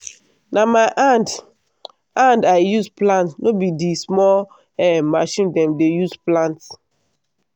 na my hand hand i use plant no be di small um machine dem dey use plant.